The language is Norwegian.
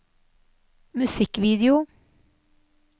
musikkvideo